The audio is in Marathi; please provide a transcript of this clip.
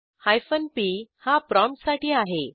हायफेन पी हा प्रॉम्प्टसाठी आहे